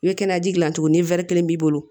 I bɛ kɛnɛya ji dilan cogo ni wɛri kelen b'i bolo